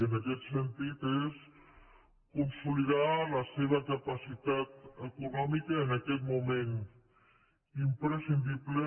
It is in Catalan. en aquest sentit és consolidar la seva capacitat econòmica en aquest moment imprescindible